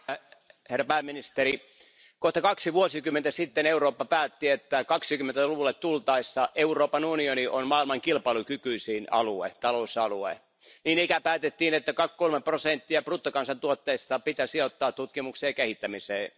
Arvoisa puhemies, arvoisa pääministeri, kohta kaksi vuosikymmentä sitten Eurooppa päätti, että 20 luvulle tultaessa Euroopan unioni on maailman kilpailukykyisin talousalue. Niin ikään päätettiin, että kolme prosenttia bruttokansantuotteesta pitää sijoittaa tutkimukseen ja kehittämiseen.